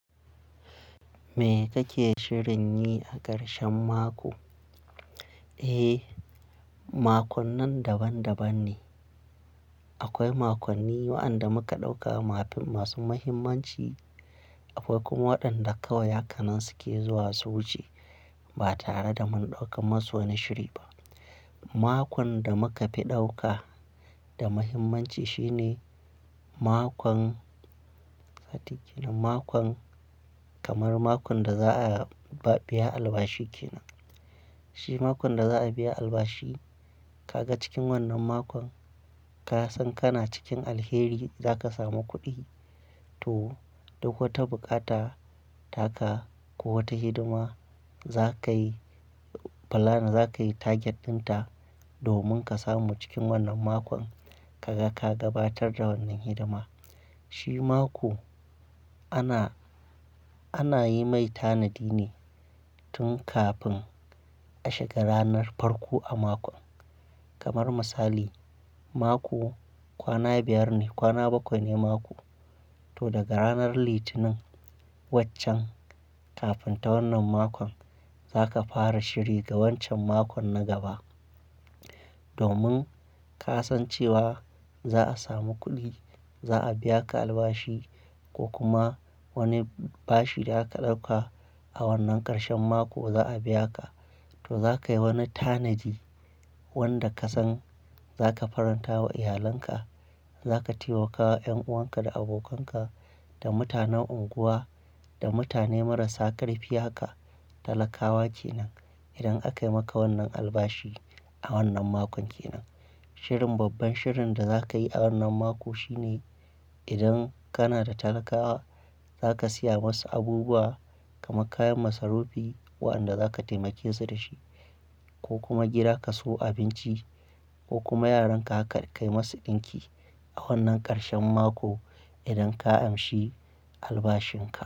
Me kake shirin yi a karshen mako? Eh, makonnan daban-daban ne. Akwai makonni waɗanda muka ɗauka masu muhimmanci, akwai kuma waɗanda kawai hakanansu ke zuwa su wuce ba tare da mun ɗauka musu wani shiri ba. Makon da muka fi ɗauka da muhimmanci shine makon, sati kenan, makon kamar makon da za a biya albashi kenan. Shi makon da za a biya albashi, ka ga cikin wannan makon ka san kana cikin alheri za ka samu kuɗi to duk wata bukata taka ko wata hidima za ka yi, plan za ka yi target ɗinta domin ka samu cikin wannan makon ka gabatar da wannan hidima. Shi mako ana, ana yi mai tanadi ne tun kafin a shiga ranar farko a makon. Kamar misali, mako kwana biyar ne, kwana bakwai ne mako to daga ranar Litinin waccen kafin ta wannan makon za ka fara shiri ga wancan makon na gaba. Domin ka san cewa za a samu kuɗi, za a biya ka albashi ko kuma wani bashi da aka ɗauka a wannan karshen mako za a biya ka, to za ka yi wani tanadi wanda ka san za ka faranta wa iyalanka. Za ka taimaka wa ƴan'uwanka da abokanka da mutanen unguwa da mutane marasa ƙarfi ya ka talakawa kenan idan aka yi maka wannan albashi a wannan makon kenan. Shirin, babban shirin da za ka yi a wannan mako shine idan kana da talakawa za ka siya masu abubuwa kamar kayan masarufi waɗanda za ka taimake su dashi ko kuma gida ka sayo abinci ko kuma yaran ka ga ka kai masu ɗinki a wannan karshen mako idan ka amshi albashin ka.